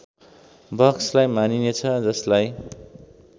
बक्सलाई मानिनेछ जसलाई